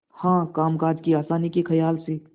हाँ कामकाज की आसानी के खयाल से